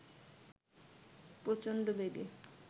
প্রচণ্ড বেগে